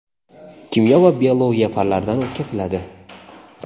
kimyo va biologiya fanlaridan o‘tkaziladi.